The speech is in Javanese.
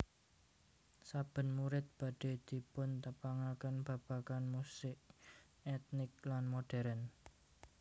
Saben murid badhe dipuntepangaken babagan musik etnik lan modern